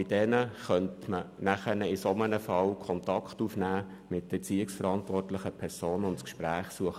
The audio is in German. Bei den Jugendlichen könnte man aber in solchen Fällen mit deren Erziehungsverantwortlichen Kontakt aufnehmen und das Gespräch suchen.